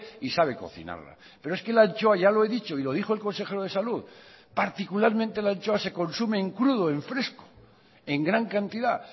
y sabe cocinarla pero es que la anchoa ya lo he dicho y lo dijo el consejero de salud particularmente la anchoa se consume en crudo en fresco en gran cantidad